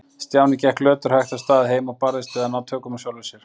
Stjáni gekk löturhægt af stað heim og barðist við að ná tökum á sjálfum sér.